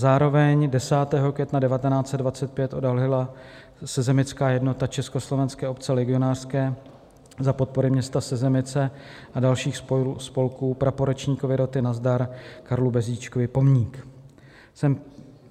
Zároveň 10. května 1925 odhalila sezemická jednota Československé obce legionářské za podpory města Sezemice a dalších spolků praporečníkovi roty Nazdar Karlu Bezdíčkovi pomník.